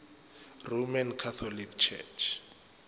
roman catholic church